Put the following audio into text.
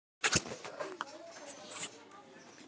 Heldur tvær.